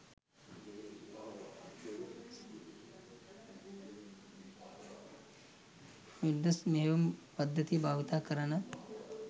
Windows මෙහයුම් පද්ධතිය භාවිත කරන